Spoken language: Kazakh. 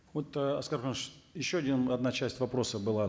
вот ы аскар куанышевич еще одна часть вопроса была